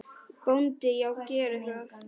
BÓNDI: Já, gerið það.